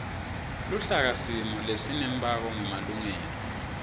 luhlakasimo lesinembako ngemalengiso